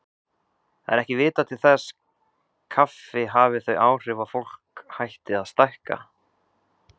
Það er ekki vitað til þess kaffi hafi þau áhrif að fólk hætti að stækka.